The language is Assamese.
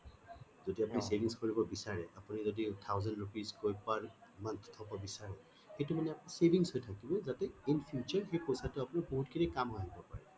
যদি আপুনি savings কৰিব বিচাৰে আপুনি যদি thousand rupees কৈ per month থব বিছাৰে সেইটো মানে আপোনাৰ savings হৈ থাকিব যাতে in future সেই পইছা টো আপুনি বহুত খিনি কাম আহিব পাৰে